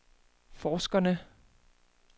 forskerne